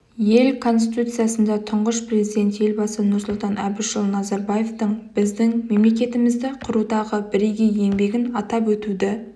ел конституциясында тұңғыш президент елбасы нұрсұлтан әбішұлы назарбаевтың біздің мемлекетімізді құрудағы бірегей еңбегін атап өтуді